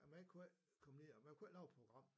Og man kunne ikke komme ned og man kunne ikke lave et program